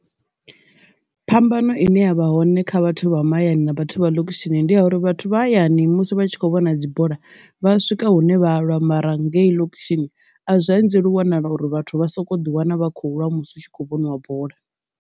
Phambano ine yavha hone kha vhathu vha mahayani na vhathu vha ḽokushini ndi ya uri vhathu vha hayani musi vha tshi kho vhona dzibola vha swika hune vha lwa, mara ngei ḽokushini ane a zwa anzeli wanala uri vhathu vha soko ḓi wana vha khou lwa musi u tshi kho vhoniwa bola.